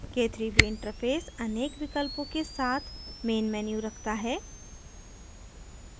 k3b interface अनेक विकल्पों के साथ main menu रखता है